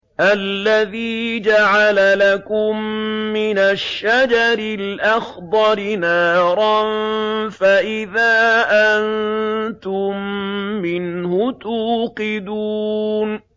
الَّذِي جَعَلَ لَكُم مِّنَ الشَّجَرِ الْأَخْضَرِ نَارًا فَإِذَا أَنتُم مِّنْهُ تُوقِدُونَ